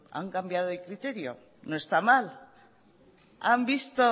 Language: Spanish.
han cambiado de criterio no está mal